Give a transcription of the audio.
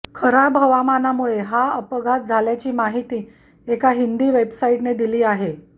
खराब हवामानामुळे हा अपघात झाल्याची माहिती एका हिंदी वेबसाईटने दिली आहे